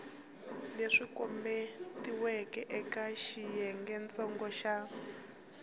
leswi kombetiweke eka xiyengentsongo xa